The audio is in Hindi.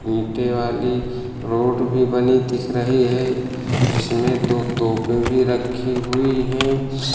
नीचे वाली रोड भी बनी दिख रही है जिसमें दो तोपें भी रखी हुई हैं।